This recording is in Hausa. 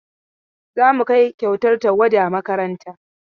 Za mu kai kyautar tawada makaranta.